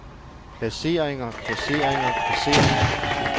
placeringer placeringer placeringer